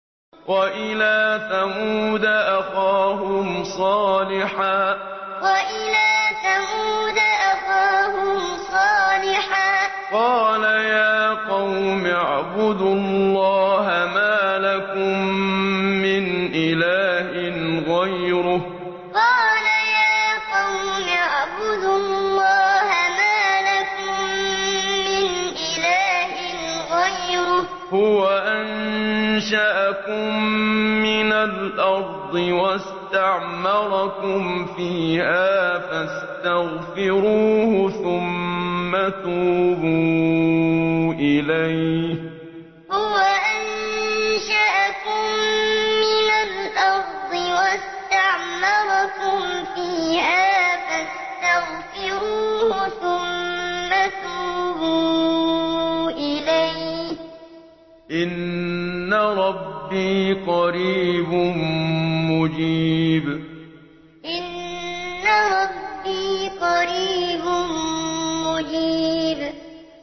۞ وَإِلَىٰ ثَمُودَ أَخَاهُمْ صَالِحًا ۚ قَالَ يَا قَوْمِ اعْبُدُوا اللَّهَ مَا لَكُم مِّنْ إِلَٰهٍ غَيْرُهُ ۖ هُوَ أَنشَأَكُم مِّنَ الْأَرْضِ وَاسْتَعْمَرَكُمْ فِيهَا فَاسْتَغْفِرُوهُ ثُمَّ تُوبُوا إِلَيْهِ ۚ إِنَّ رَبِّي قَرِيبٌ مُّجِيبٌ ۞ وَإِلَىٰ ثَمُودَ أَخَاهُمْ صَالِحًا ۚ قَالَ يَا قَوْمِ اعْبُدُوا اللَّهَ مَا لَكُم مِّنْ إِلَٰهٍ غَيْرُهُ ۖ هُوَ أَنشَأَكُم مِّنَ الْأَرْضِ وَاسْتَعْمَرَكُمْ فِيهَا فَاسْتَغْفِرُوهُ ثُمَّ تُوبُوا إِلَيْهِ ۚ إِنَّ رَبِّي قَرِيبٌ مُّجِيبٌ